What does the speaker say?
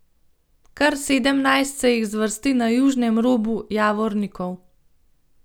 Kar sedemnajst se jih zvrsti na južnem robu Javornikov.